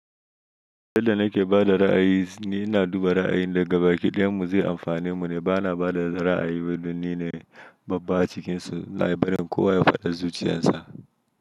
Yadda nake bada ra'ayi shine ina duba ra'ayin daga baki ɗayanmu zai amfane mu ne bana bada ra'ayi don ni ne babba acikinsu na yi barin kowa ya faɗi zuciyarsa.